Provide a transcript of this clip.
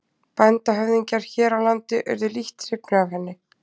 Bændahöfðingjar hér á landi urðu lítt hrifnir af henni.